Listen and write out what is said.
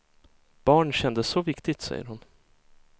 Barn kändes så viktigt, säger hon.